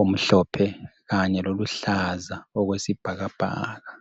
omhlophe kanye loluhlaza okwesibhakabhaka.